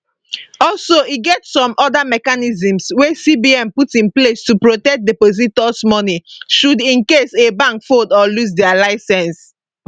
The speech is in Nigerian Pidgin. also e get some oda mechanisms wey cbn put in place to protect depositors money should in case a bank fold or lose dia licence